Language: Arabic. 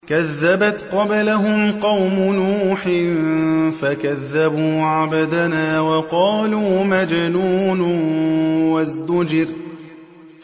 ۞ كَذَّبَتْ قَبْلَهُمْ قَوْمُ نُوحٍ فَكَذَّبُوا عَبْدَنَا وَقَالُوا مَجْنُونٌ وَازْدُجِرَ